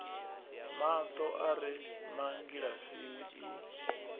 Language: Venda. mato a re mangilasini i